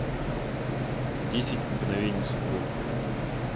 десять мгновений судьбы